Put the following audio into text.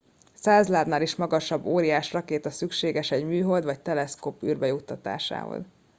100 lábnál is magasabb óriás rakéta szükséges egy műhold vagy teleszkóp űrbe juttatásához